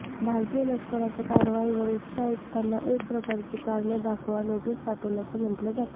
भारतीय लष्कराच्या कारवाईवर उच्चायुक्तांना एक प्रकारची कारणे दाखवा नोटीस पाठवल्याचं म्हटलं जातं